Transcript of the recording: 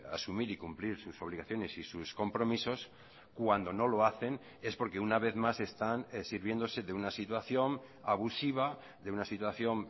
asumir y cumplir sus obligaciones y sus compromisos cuando no lo hacen es porque una vez más están sirviéndose de una situación abusiva de una situación